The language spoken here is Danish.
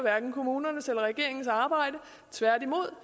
kommunernes eller regeringens arbejde tværtimod